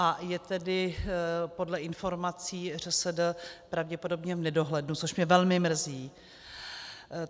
Ta je tedy podle informací ŘSD pravděpodobně v nedohlednu, což mě velmi mrzí.